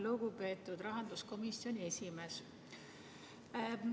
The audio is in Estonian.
Lugupeetud rahanduskomisjoni esimees!